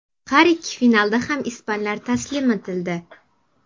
Har ikki finalda ham ispanlar taslim etildi.